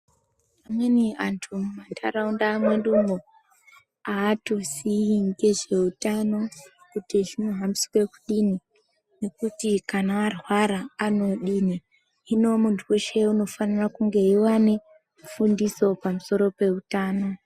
Amweni antu muntaraunda wedumwo, atoziyi ngezveutano ,kuti zvinohambiswe kudini , nekuti kana arwara anodini, Hino muntu weshe unofanira kunge eiva nefundiso pamusoro peutano.